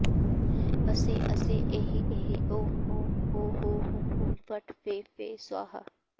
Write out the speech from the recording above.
असै असै एहि एहि ॐ ॐ हों हों हुं हुं फट् फे फे स्वाहा